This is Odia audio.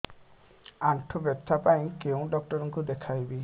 ଆଣ୍ଠୁ ବ୍ୟଥା ପାଇଁ କୋଉ ଡକ୍ଟର ଙ୍କୁ ଦେଖେଇବି